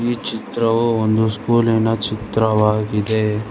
ಈ ಚಿತ್ರವು ಒಂದು ಸ್ಕೂಲಿನ ಚಿತ್ರವಾಗಿದೆ.